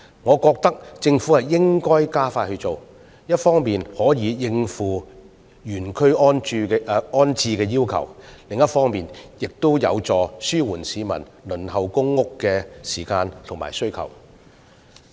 我認為政府應加快落實相關工作，一方面可以應付原區安置的要求，而另一方面亦有助紓緩市民輪候公屋的時間和需求。